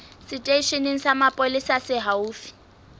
seteisheneng sa mapolesa se haufi